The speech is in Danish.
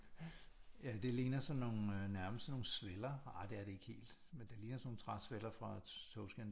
Ja det ligner sådan nogle nærmest sådan nogle sveller ah det er det ikke helt men det ligner sådan nogle træsveller fra togskinner